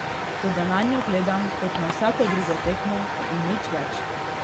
Toda nanjo gledam kot na vsako drugo tekmo in nič več.